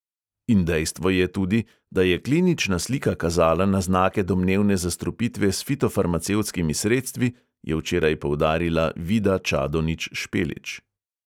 In dejstvo je tudi, da je klinična slika kazala na znake domnevne zastrupitve s fitofarmacevtskimi sredstvi, je včeraj poudarila vida čadonič špelič.